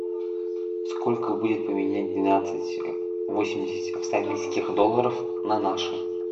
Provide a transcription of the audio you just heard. сколько будет поменять двенадцать восемьдесят австралийских долларов на наши